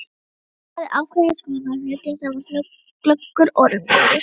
Hann hafði ákveðnar skoðanir á hlutunum, var glöggur og raungóður.